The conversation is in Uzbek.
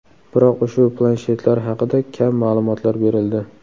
Biroq ushbu planshetlar haqida kam ma’lumotlar berildi.